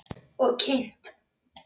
Og kyngt.